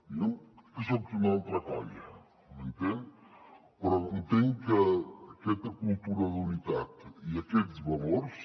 jo soc d’una altra colla m’entén però entenc que aquesta cultura d’unitat i aquests valors